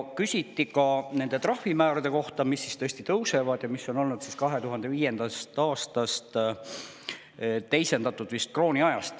Küsiti ka nende trahvimäärade kohta, mis tõesti tõusevad ja mis on olnud muutmata 2005. aastast, vist teisendatud veel krooniajast.